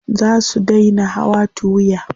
Za su dai na hawa tuwiya.